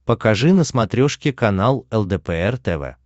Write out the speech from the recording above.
покажи на смотрешке канал лдпр тв